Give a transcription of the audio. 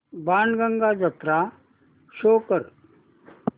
बाणगंगा जत्रा शो कर